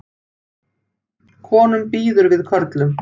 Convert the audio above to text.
Konum býður við körlum